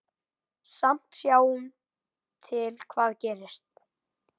Sjáum til hvað gerist.